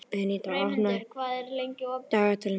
Bentína, opnaðu dagatalið mitt.